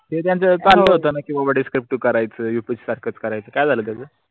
त्याच्यान चालत होतं over discriptive करायेच upsc साखरच करायेच काय झाल त्यंचा?